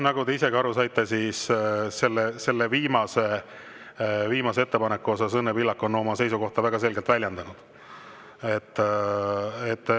Nagu te isegi aru saite, siis selle viimase ettepaneku osas on Õnne Pillak oma seisukohta väga selgelt väljendanud.